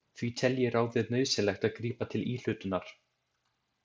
Því telji ráðið nauðsynlegt að grípa til íhlutunar.